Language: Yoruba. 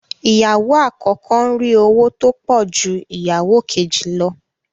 Ìyàwó àkọ́kọ́ ń rí owó tó pọ̀ ju ìyàwó kejì lọ